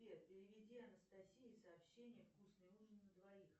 сбер переведи анастасии сообщение вкусный ужин на двоих